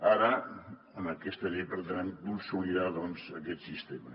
ara en aquesta llei pretenem consolidar doncs aquest sistema